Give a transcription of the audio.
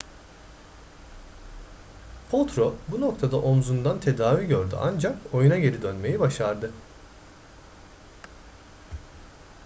potro bu noktada omzundan tedavi gördü ancak oyuna geri dönmeyi başardı